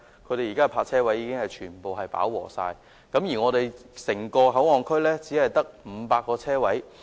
現時東涌區的泊車位已經全部飽和，而整個口岸區卻只有500個泊車位。